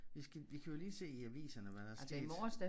Vi skal vi kan jo lige se i aviserne hvad der er sket